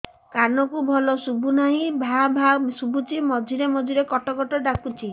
କାନକୁ ଭଲ ଶୁଭୁ ନାହିଁ ଭାଆ ଭାଆ ଶୁଭୁଚି ମଝିରେ ମଝିରେ କଟ କଟ ଡାକୁଚି